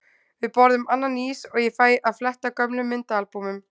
Við borðum annan ís og ég fæ að fletta gömlum myndaalbúmum.